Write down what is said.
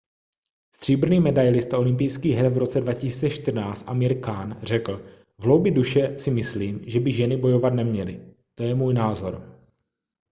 stříbrný medailista olympijských her v roce 2014 amir khan řekl v hloubi duše si myslím že by ženy bojovat neměly to je můj názor